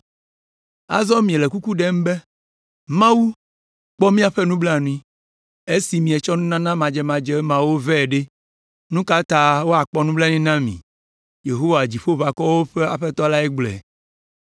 “Azɔ miele kuku ɖem be, Mawu, kpɔ míaƒe nublanui, Esi mietsɔ nunana madzemadze mawo vɛ ɖe, nu ka ta wòakpɔ nublanui na mi?” Yehowa, Dziƒoʋakɔwo ƒe Aƒetɔ lae gblɔe.